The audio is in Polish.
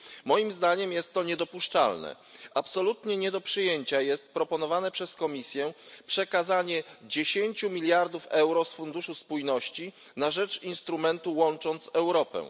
Moim zdaniem jest to niedopuszczalne. Absolutnie nie do przyjęcia jest proponowane przez Komisję przekazanie 10 mld euro z Funduszu Spójności na rzecz instrumentu Łącząc Europę.